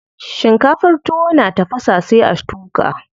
Shinkafar tuwo na tafasa sai a tuƙa.